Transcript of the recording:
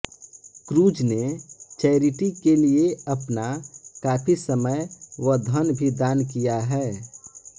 cruise ने charity के लिए अपना काफी समय व धन भी दान किया है